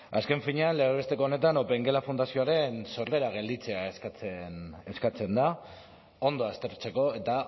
azken finean legez besteko honetan opengela fundazioaren sorrera gelditzea eskatzen da ondo aztertzeko eta